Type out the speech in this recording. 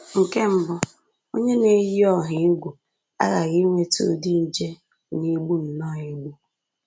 Nke mbụ, onye na-eyi ọha egwu aghaghị inweta ụdị nje na-egbu nnọọ egbu